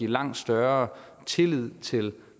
langt større tillid til